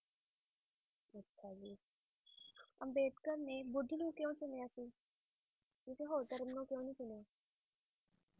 ਅੱਛਾ ਜੀ ਅੰਬੇਡਕਰ ਨੇ ਬੁੱਧ ਨੂੰ ਕਿਉ ਚੁਣਿਆ ਸੀ ਕਿਸੇ ਹੋਰ ਧਰਮ ਨੂੰ ਕਿਉ ਨਹੀ ਚੁਣਿਆ